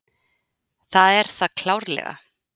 Það er það klárlega.